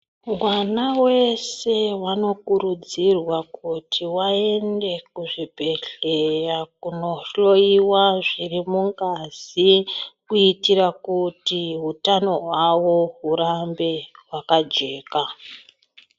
Mwana weshe anokurudzirwa kuti aende kuzvibhedhleya, kunohloiwa zviri mungazi, kuitira kuti utano hwawo hurambe hwakajeka.